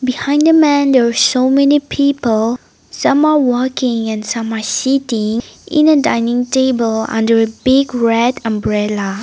behind the man there are so many people some are walking and some are sitting in a dining table under a big red umbrella.